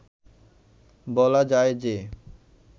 বলা যায় যে